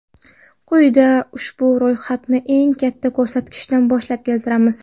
Quyida ushbu ro‘yxatni eng katta ko‘rsatkichdan boshlab keltiramiz.